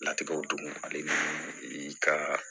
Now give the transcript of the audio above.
Natigɛw don ale ka